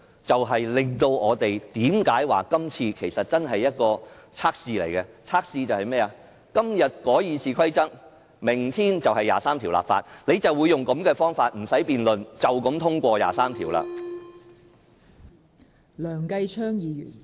這正是我們說這次是一項測試的原因，要測試的是"今日改《議事規則》，明天23條立法"，日後他們亦將以同樣的方法，不用辯論便通過《基本法》第二十三條。